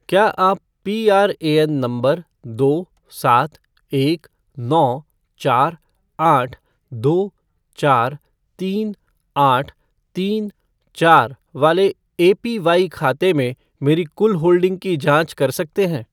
क्या आप पीआरएएन नंबर दो सात एक नौ चार आठ दो चार तीन आठ तीन चार वाले एपीवाई खाते में मेरी कुल होल्डिंग की जांच कर सकते हैं?